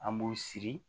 An b'u siri